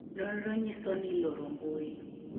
nonro nyiso ni loro mbui